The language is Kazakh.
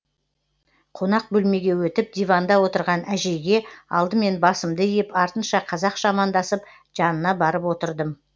қонақ бөлмеге өтіп диванда отырған әжейге алдымен басымды иіп артынша қазақша амандасып жанына барып отырдым